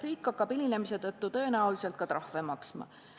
Riik hakkab hilinemise tõttu tõenäoliselt ka trahve maksma.